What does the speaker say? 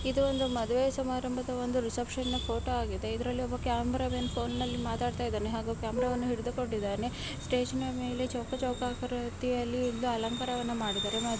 ಇದು ಒಂದು ಮದುವೆ ಸಮಾರಂಭದ ಒಂದು ರಿಸೆಪ್ಶನ್ ಫೋಟೊ ಆಗಿದೆ ಇದ್ರಲ್ಲಿ ಒಬ್ಬ ಕ್ಯಾಮೆರಾ ಮ್ಯಾನ್ ಫೋನ್ನ ಲ್ಲಿ ಮಾತಾಡ್ತಾ ಇದ್ದಾನೆ ಹಾಗೂ ಕ್ಯಾಮೆರಾ ವನ್ನು ಹಿಡಿದುಕೊಂಡಿದ್ದಾನೆ ಸ್ಟೇಜ್ ನ ಮೇಲೆ ಚೌಕ ಚೌಕ ಆಕಾರ ರೀತಿಯಲ್ಲಿ ಇದ್ದು ಅಲಂಕಾರವನ್ನ ಮಾಡಿದ್ದಾರೆ.